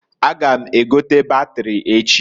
A ga m egote batiri echi.